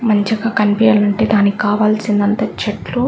మంచిగా కనిపియాలంటే దానికి కావాల్సిదంతా చెట్లు --